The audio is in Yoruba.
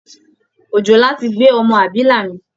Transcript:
Òjòlá ti gbé ọmọ abilà mì